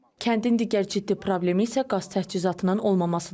Kəndin digər ciddi problemi isə qaz təchizatının olmamasıdır.